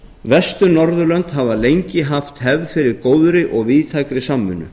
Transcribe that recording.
vestur norðurlönd hafa lengi haft hefð fyrir góðri og víðtækri samvinnu